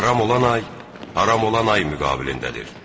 Haram olan ay haram olan ay müqabilindədir.